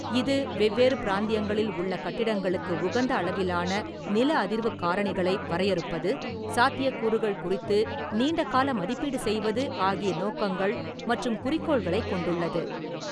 இது வெவ்வேறு பிராந்தியங்களில் உள்ள கட்டிடங்களுக்கு உகந்த அளவிலான நில அதிர்வுக் காரணிகளை வரையறுப்பது, சாத்தியக்கூறுகள் குறித்து நீண்டகால மதிப்பீடு செய்வது ஆகிய நோக்கங்கள் மற்றும் குறிக்கோள்களைக் கொண்டுள்ளது.